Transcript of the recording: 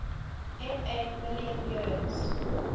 ma million years